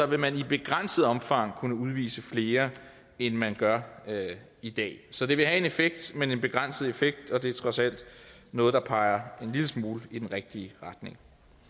vil man i begrænset omfang kunne udvise flere end man gør i dag så det vil have en effekt men en begrænset effekt og det er trods alt noget der peger en lille smule i den rigtige retning